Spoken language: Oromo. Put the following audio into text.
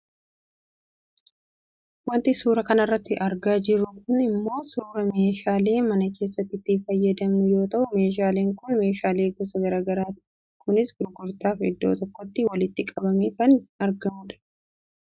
Wanti suuraa kanarratti argaa jirru kun ammoo suuraa meeshaalee mana keessatti itti fayyadamnu yoo ta'u meeshaaleen kun meshaalee gosa gara garaati kunis gurgurtaaf iddoo tokkotti walitti qabamee kan argamu dha.